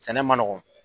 Sɛnɛ man nɔgɔn